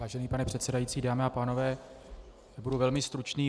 Vážený pane předsedající, dámy a pánové, budu velmi stručný.